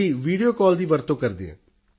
ਜੀ video call ਦੀ ਵਰਤੋਂ ਕਰਦੇ ਹਾਂ